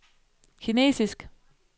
kinesisk